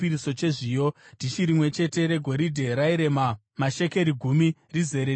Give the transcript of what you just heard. dhishi rimwe chete regoridhe rairema mashekeri gumi, rizere nezvinonhuhwira;